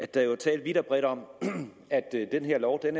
der er jo talt vidt og bredt om at den her lov er